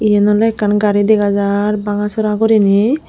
iyen oley ekkan gari dega jaar banga sera guriney.